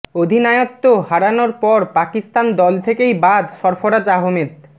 অধিনায়ত্ব হারানোর পর পাকিস্তান দল থেকেই বাদ সরফরাজ আহমেদ